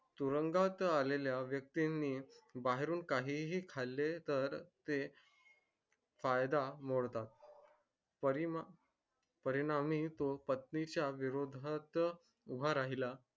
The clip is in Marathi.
तुरुंगात आलेल्या व्यक्ती नि बाहेरून कहीही खाले त ते कायदा मोडतात परिणाम परिणामी तो पत्नी च्या विरोदात्त उभा राहिला